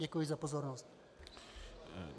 Děkuji za pozornost.